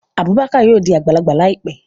Abubakar yóò di agbalagba laipe